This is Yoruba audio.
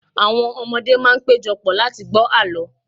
awọn ọmọdé ma n pejọ pọ̀ láti gbọ àlọ